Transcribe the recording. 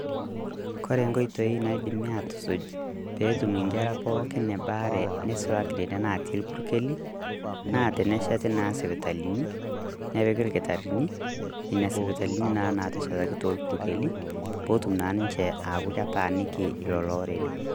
Kore nkotoi naidim atusuuj pee etum nkerra pookin ebaare neisulaki nenia natii irpukeli, naa teneshetii naa sipitalini napiiki lkitarini nenia sipitalini naa nateshetaki te irpukeli pootum naa ninchee akuu ketaniiki lelo orere.